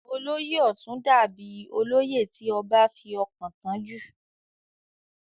olóyè ọ̀tún dà bíi olóyè tí ọbá fi ọkàn tán jù